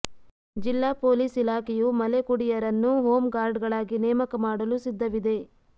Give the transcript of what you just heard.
ಜಿಲ್ಲಾ ಪೊಲೀಸ್ ಇಲಾಖೆಯು ಮಲೆಕುಡಿಯರನ್ನು ಹೋಂ ಗಾರ್ಡ್ಗಳಾಗಿ ನೇಮಕ ಮಾಡಲು ಸಿದ್ಧವಿದೆ